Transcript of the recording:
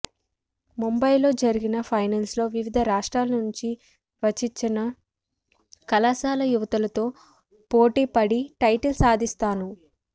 ముంబైలో జరిగిన ఫైనల్స్లో వివిధ రాష్ట్రాల నుంచి వచి్చన కళాశాల యువతులతో పోటీ పడి టైటిల్ సాధించాను